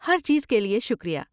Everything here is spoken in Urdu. ہر چیز کے لیے شکریہ۔